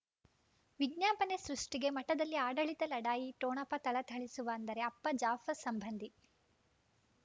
ವಿಜ್ಞಾಪನೆ ಸೃಷ್ಟಿಗೆ ಮಠದಲ್ಲಿ ಆಡಳಿತ ಲಢಾಯಿ ಠೊಣಪ ಥಳಥಳಿಸುವ ಅಂದರೆ ಅಪ್ಪ ಜಾಫರ್ ಸಂಬಂಧಿ